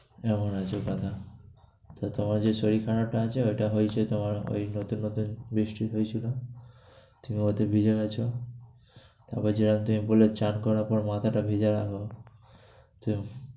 এমন হচ্ছে কথা। তো তোমার যে শরীর খারাপটা আছে ঐটা হয়েছে তোমার ঐ নতুন নতুন বৃষ্টি হয়েছিলো, তুমি ওতে ভিজে গেছো। আবার যা তে বললে স্নান করার পরে মাথাটা ভিজাও, তুম~